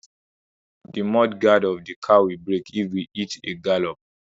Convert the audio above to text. The mud guard of the car will break if we hit a gallop.